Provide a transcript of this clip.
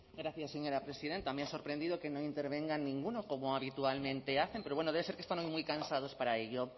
gracias señora presidenta me ha sorprendido que no intervenga ninguno como habitualmente hacen pero bueno debe ser que están hoy muy cansados para ello